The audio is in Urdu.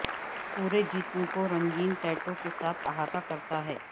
پورے جسم کو رنگین ٹیٹو کے ساتھ احاطہ کرتا ہے